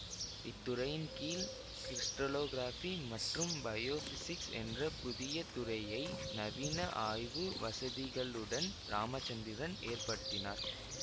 இத்துறையின் கீழ் கிரிஸ்டலோகிராஃபி மற்றும் பயோபிசிக்ஸ் என்ற புதிய துறையை நவீன ஆய்வு வசதிகளுடன் இராமச்சந்திரன் எற்படுத்தினார்